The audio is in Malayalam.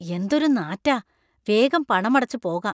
എന്തൊരു നാറ്റാ . വേഗം പണമടച്ച് പോകാം.